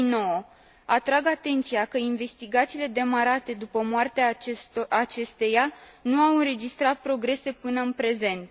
2009. Atrag atenția că investigațiile demarate după moartea acesteia nu au înregistrat progrese până în prezent.